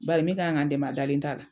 Badi min kan ka n dɛmɛ o dalen t'a la.